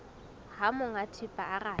ha monga thepa a rata